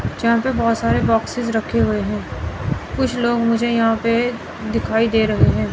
यहां पर बहोत सारे बॉक्सेस रखे हुए हैं कुछ लोग मुझे यहां पे दिखाई दे रहे हैं।